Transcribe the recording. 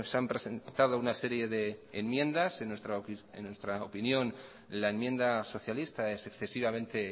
han presentado una serie de enmiendas en nuestra opinión la enmienda socialista es excesivamente